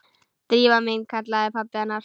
Drífa mín- kallaði pabbi hennar.